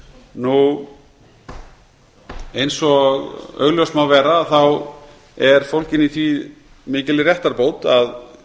í nefndinni eins og augljóst má vera er fólgin í því mikil réttarbót að